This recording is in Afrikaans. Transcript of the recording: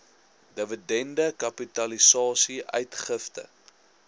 dividende kapitalisasie uitgifte